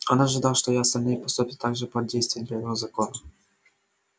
он ожидал что и остальные поступят так же под действием первого закона